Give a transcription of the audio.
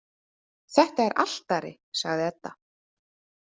Þetta er altari, sagði Edda.